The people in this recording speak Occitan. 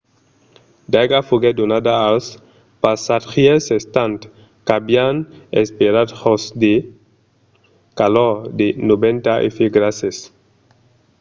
d'aiga foguèt donada als passatgièrs estant qu'avián esperat jos de calors de 90 f grases